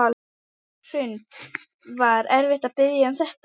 Hrund: Var erfitt að biðja um þetta?